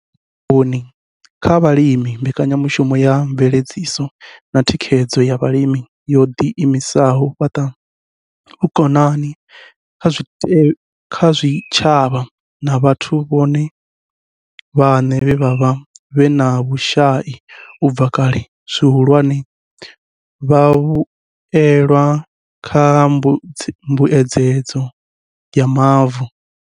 U fhaṱa vhukoni kha vhalimi mbekanyamushumo ya mveledziso na thikhedzo ya vhalimi yo ḓi imisela u fhaṱa vhukoni kha zwitshavha na vhathu vhone vhaṋe vhe vha vha vhe na vhushai u bva kale, zwihulwane, vhavhuelwa kha mbuedzedzo ya mavu.